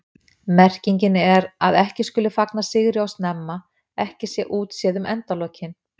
Merkingin er að ekki skuli fagna sigri of snemma, ekki sé útséð um endalokin.